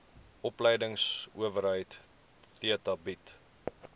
opleidingsowerheid theta bied